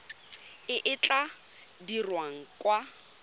e e tla dirwang kwa